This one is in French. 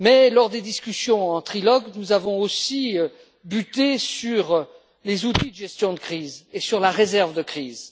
Lors des discussions en trilogue, nous avons aussi buté sur les outils de gestion de crise et sur la réserve de crise.